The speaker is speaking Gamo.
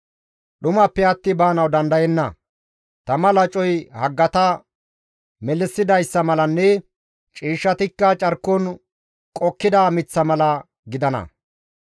Dhumappe atti baanawu dandayenna; tama lacoy haggata melissidayssa malanne ciishshatikka carkon qokkida miththa mala gidana.